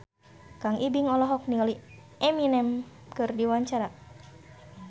Kang Ibing olohok ningali Eminem keur diwawancara